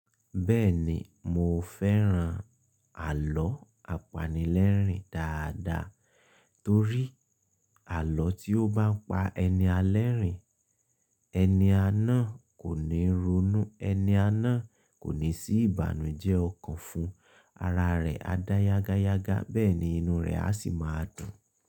Bẹ́ẹ̀ni, mo fẹ́ran àlọ́ apanilẹ́rìn dáadáa torí àlọ́ tí ó bá ń pa ẹni alẹ́rìn, ẹni àná kò ní ronú, ẹni àná kò ní sí ìbànújẹ́ ọkàn fún, ara rẹ̀ á dá yágáyágá, bẹ́ẹ̀ ni inú rẹ̀ á sì máa dùn.